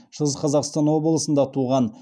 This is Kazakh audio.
шығыс қазақстан облысында туған